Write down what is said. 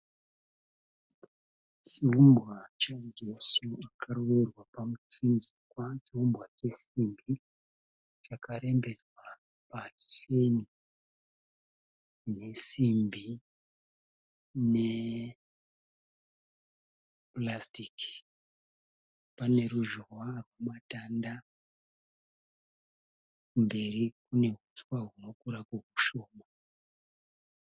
Chiumbwa chaJesu akarovererwa pamuchinjikwa, chiumbwa chesimbi chakarembedzwa pacheni nesimbi nepurasutiki, pane ruzhowa rwematanda mberi kune huswa hunokurako kushoko.